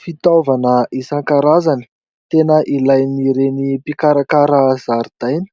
Fitaovana isan-karazany, tena ilain'ireny mpikarakara zaridaina.